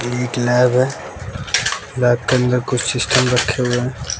एक लैब है लैब के अंदर कुछ सिस्टम रखे हुए है।